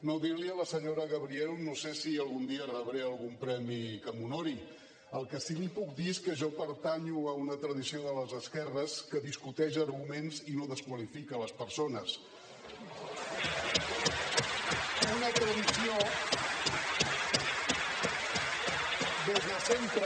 no dir li a la senyora gabriel no sé si algun dia rebré algun premi que m’honori el que sí li puc dir és que jo pertanyo a una tradició de les esquerres que discuteix arguments i no desqualifica les persones una tradició des de sempre